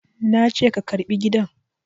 Na ce ka karɓi gidan!